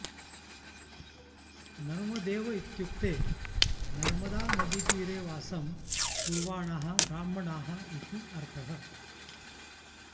नर्मदेव इत्युक्ते नर्मदानदीतीरे वासं कुर्वाणाः ब्राह्मणाः इति अर्थः